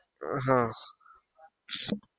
આહ